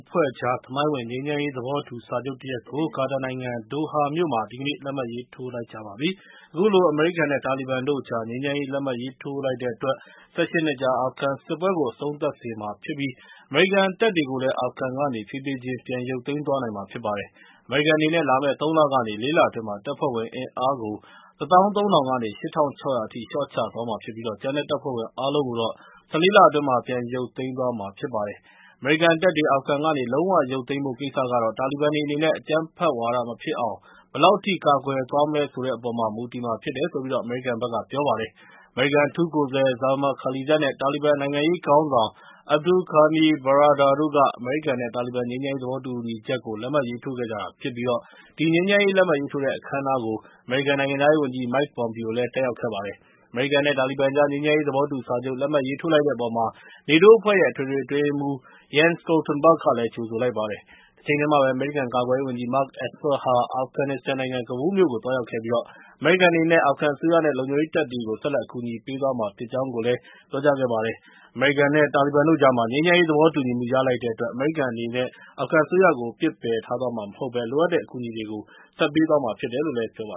ဖွဲ့ကြား သမိုင်းဝင် ငြိမ်းချမ်းရေး သဘောတူစာချုပ်တရပ်ကို ကာတာနိုင်ငံ ဒိုဟာမြို့မှာ ဒီကနေ့ လက်မှတ်ရေးထိုးလိုက်ကြပါတယ်။ အခုလို အမေရိကန်နဲ့ တာလီဘန်တို့ကြား ငြိမ်းချမ်းရေး လက်မှတ်ရေးထိုးလိုက်တဲ့အတွက် ၁၈ နှစ်ကြာ အာဖဂန်စစ်ပွဲကို အဆုံးသတ်စေမှာဖြစ်ပြီး အမေရိကန်တပ်တွေကိုလည်း အာဖဂန်ကနေ ဖြည်းဖြည်းချင်း ပြန်ရုပ်သိမ်းနိုင်မှာ ဖြစ်ပါတယ်။ အမေရိကန်အနေနဲ့ လာမယ့် ၃ လကနေ ၄ လအတွင်းမှာ တပ်ဖွဲ့ဝင်အင်အားကို ၁၃၀၀၀ ကနေ ၈၆၀၀ အထိ လျှော့ချသွားမှာဖြစ်ပြီး ကျန်တဲ့တပ်ဖွဲ့ဝင် အားလုံးကိုတော့ ၁၄ လအတွင်း ပြန်ရုပ်သိမ်းမှာဖြစ်ပါတယ်။ အမေရိကန်တပ်တွေ အာဖဂန်ကနေ လုံးဝရုပ်သိမ်းဖို့ ကိစ္စကတော့ တာလီဘန်တွေအနေနဲ့ အကြမ်းဖက်ဝါဒမဖြစ်အောင် ဘယ်လောက်အထိ ကာကွယ်သွားမလဲ ဆိုတဲ့အပေါ်မှာ မူတည်မှာဖြစ်တယ်လို့ ပြောပါတယ်။ အမေရိကန် အထူးကိုယ်စားလှယ် Zalmay Khalizad နဲ့ တာလီဘန် နိုင်ငံရေးခေါင်းဆောင် Abdul Ghani Baradar တို့က အမေရိကန်နဲ့ တာလီဘန် ငြိမ်းချမ်းရေး သဘောတူညီချက်ကို လက်မှတ်ရေးထိုးခဲ့ကြတာဖြစ်ပြီး ဒီငြိမ်းချမ်းရေး လက်မှတ်ရေးထိုးတဲ့ အခမ်းအနားကို အမေရိကန် နိုင်ငံခြားရေးဝန်ကြီး Mike Pompeo လည်း တက်ရောက်ခဲ့ပါတယ်။ အမေရိကန်နဲ့ တာလီဘန်ကြား ငြိမ်းချမ်းရေး သဘောတူစာချုပ် လက်မှတ်ရေးထိုးလိုက်တဲ့အပေါ်မှာ နေတိုးအဖွဲ့ရဲ့ အထွေထွေအတွင်းရေးမှူး Jen Stoltenberg ကလည်း ကြိုဆိုလိုက်ပါတယ်။ တချိန်တည်းမှာပဲ အမေရိကန် ကာကွယ်ရေးဝန်ကြီး Mark Esper ဟာ အာဖဂန်နစ္စတန်နိုင်ငံ ကဘူးလ်မြို့ကို သွားရောက်ခဲ့ပြီး အမေရိကန်အနေနဲ့ အာဖဂန်အစိုးရနဲ့ လုံခြုံရေးတပ်ဖွဲ့တွေကို ဆက်လက် အကူအညီပေးသွားမှာ ဖြစ်ကြောင်း ပြောကြားခဲ့ပါတယ်။ အမေရိကန်နဲ့ တာလီဘန်တို့ကြားမှာ ငြိမ်းချမ်းရေး သဘောတူညီမှု ရလိုက်တဲ့အတွက် အမေရိကန်အနေနဲ့ အာဖဂန်အစိုးရကို ပစ်ပယ်ထားသွားမှာမဟုတ်ဘဲ လိုအပ်တဲ့ အကူအညီတွေကို ပေးသွားမှာ ဖြစ်တယ်လို့ ပြောပါ